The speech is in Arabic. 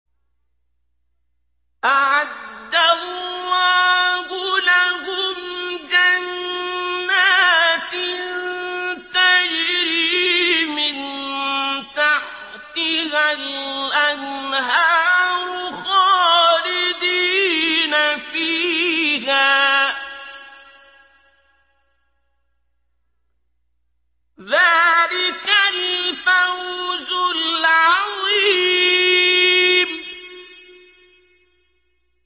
أَعَدَّ اللَّهُ لَهُمْ جَنَّاتٍ تَجْرِي مِن تَحْتِهَا الْأَنْهَارُ خَالِدِينَ فِيهَا ۚ ذَٰلِكَ الْفَوْزُ الْعَظِيمُ